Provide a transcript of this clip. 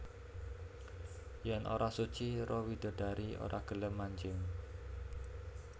Yen ora suci roh widodari ora gelem manjing